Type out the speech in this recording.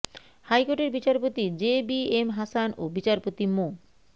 হাইকোর্টের বিচারপতি J B M Hasan ও বিচারপতি মো